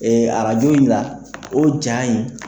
Ee arajo in la, o ja in.